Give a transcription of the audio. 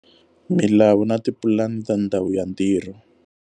Milawu na tipulani ta ndhawu ya ntirho.